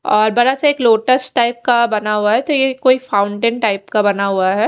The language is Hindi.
और बड़ा सा अक लॉट्स टाइप का बना हुआ है तो यह कोई फाउन्टेन टाइप का बना हुआ है।